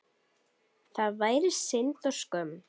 Það væri synd og skömm.